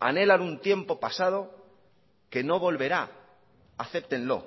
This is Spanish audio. anhelan un tiempo pasado que no volverá acéptenlo